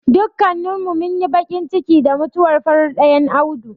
Dukkanin mu munyi baƙin ciki da mutuwar farar ɗayan Audu.